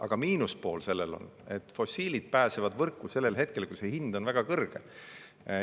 Aga selle miinuspool on, et fossiilid pääsevad võrku sellel hetkel, kui hind on väga kõrge.